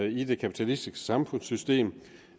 i det kapitalistiske samfundssystem